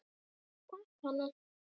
Takk, Hanna.